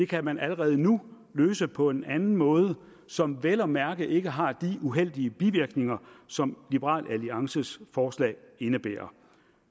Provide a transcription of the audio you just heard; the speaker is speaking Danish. kan man allerede nu løse på en anden måde som vel at mærke ikke har de uheldige bivirkninger som liberal alliances forslag indebærer